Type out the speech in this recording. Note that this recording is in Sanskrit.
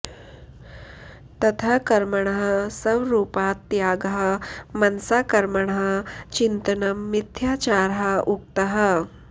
ततः कर्मणः स्वरूपात् त्यागः मनसा कर्मणः चिन्तनं मिथ्याचारः उक्तः